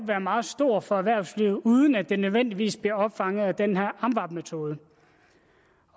være meget stor for erhvervslivet uden at den nødvendigvis bliver opfanget med den her amvab metode